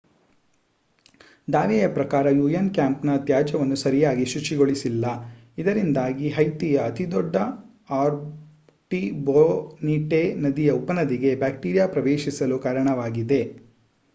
ದಾವೆಯ ಪ್ರಕಾರ ಯುಎನ್ ಕ್ಯಾಂಪ್‌ನ ತ್ಯಾಜ್ಯವನ್ನು ಸರಿಯಾಗಿ ಶುಚಿಗೊಳಿಸಿಲ್ಲ ಇದರಿಂದಾಗಿ ಹೈತಿಯ ಅತಿದೊಡ್ಡ ಆರ್ಟಿಬೊನಿಟೆ ನದಿಯ ಉಪನದಿಗೆ ಬ್ಯಾಕ್ಟೀರಿಯಾ ಪ್ರವೇಶಿಸಲು ಕಾರಣವಾಗಿದೆ